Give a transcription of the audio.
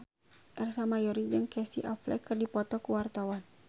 Ersa Mayori jeung Casey Affleck keur dipoto ku wartawan